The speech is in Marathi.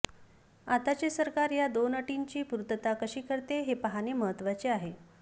आताचे सरकार या दोन अटींची पूर्तता कशी करते हे पाहणे महत्त्वाचे आहे